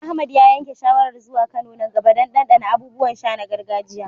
Ahmad ya yanke shawarar zuwa Kano nan gaba don ɗanɗana abubuwan sha na gargajiya.